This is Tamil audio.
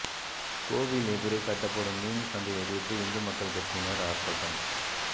கோவில் எதிரே கட்டப்படும் மீன் சந்தையை எதிர்த்து இந்து மக்கள் கட்சியினர் ஆர்ப்பாட்டம்